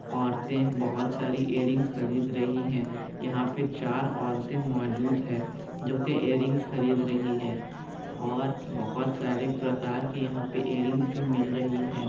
औरतें बहुत सारी इयररिंग्स खरीद रही हैं यहाँ पे चार औरते मौजूद हैं जो कि इयररिंग्स खरीद रही हैं और बहुत सारे प्रकार के यहाँ पे इयररिंग्स भी मिल रही है।